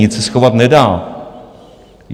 Nic se schovat nedá.